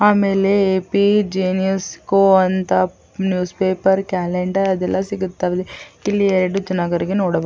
ಆಮೇಲೆ ಪೇ ಜಿನಿಯಸ್ ಕೋ ಅಂತ ನ್ಯೂಸ್ ಪೇಪರ್ ಕ್ಯಾಲೆಂಡರ್ ಅದೆಲ್ಲಾ ಸಿಗುತ್ತವೆ. ಇಲ್ಲಿ ಎರಡು ಜನಗರಿಗೆ ನೋಡ --